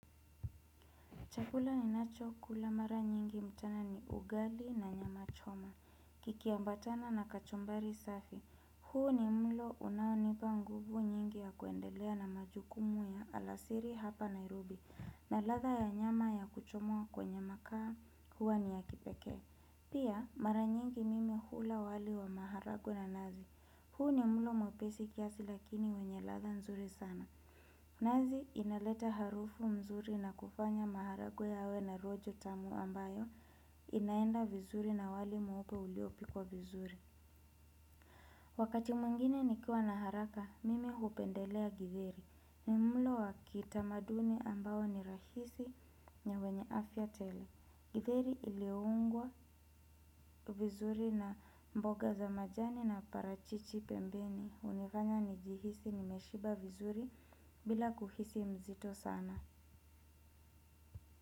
Chakula ninacho kula mara nyingi mtaa ni ugali na nyama choma. Kikiambatana na kachumbari safi. Huu ni mlo unaonipa nguvu nyingi ya kuendelea na majukumu ya alasiri hapa Nairobi. Na ladha ya nyama ya kuchomwa kwenye makaa huwa ni ya kipekee. Pia mara nyingi mimi hula wali wa maharagwe na nazi. Huu ni mlo mwepesi kiasi lakini wenye ladha nzuri sana. Nazi inaleta harufu mzuri na kufanya maharagwe yawe na rojo tamu ambayo inaenda vizuri na wali mweupe uliopikwa vizuri. Wakati mwingine nikiwa na haraka, mimi hupendelea githeri. Ni mlo wa kitamaduni ambao ni rahisi na wenye afya tele. Githeri ilioungwa vizuri na mboga za majani na parachichi pembeni hunifanya nijihisi nimeshiba vizuri bila kuhisi mzito sana.